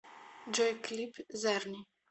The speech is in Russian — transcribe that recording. джой клип зарни